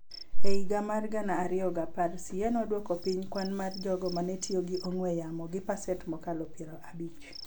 E higa mar gana ariyo gi apar, CA nodwoko piny kwan mar jogo ma ne otiyo gi ong'we yamo gi pasent mokalo piero abich,